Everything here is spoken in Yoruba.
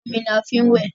omí ní a fín wẹ.